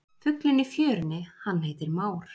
Fuglinn í fjörunni hann heitir már.